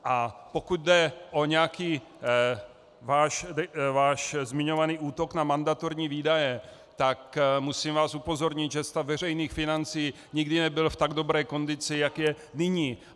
A pokud jde o nějaký váš zmiňovaný útok na mandatorní výdaje, tak musím vás upozornit, že stav veřejných financí nikdy nebyl v tak dobré kondici, jak je nyní.